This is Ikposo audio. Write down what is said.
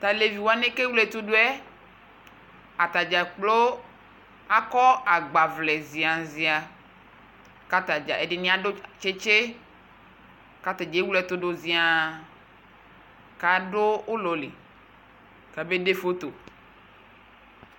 Tʋ alevi wanɩ bʋa kʋ ewle ɛtʋ dʋ yɛ, ata dza kplo akɔ agbawlɛ zɩaa zɩaa kʋ ata dza ɛdɩnɩ adʋ tsetse kʋ ata dza ewle ɛtʋ dʋ zɩaa kʋ adʋ ʋlɔ li kabede foto